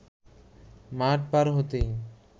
মাঠ পার হইতে